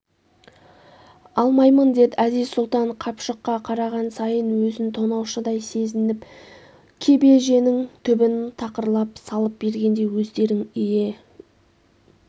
алмаймын дед әзиз-сұлтан қапшыққа қараған сайын өзн тонаушыдай сезнп кебеженің түбін тақырлап салып бергенде өздерің не